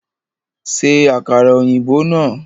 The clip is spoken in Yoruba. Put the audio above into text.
Ṣe àkàrà ọ̀yìnbó náà!